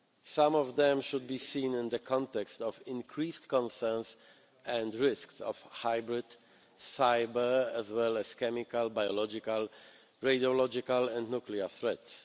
Some of them should be seen in the context of increased concerns and risks of hybrid, cyber, as well as chemical, biological, radiological and nuclear threats.